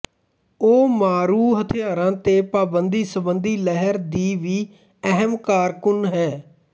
ਉਹ ਮਾਰੂ ਹਥਿਆਰਾਂ ਤੇ ਪਾਬੰਦੀ ਸੰਬੰਧੀ ਲਹਿਰ ਦੀ ਵੀ ਅਹਿਮ ਕਾਰਕੁਨ ਹੈ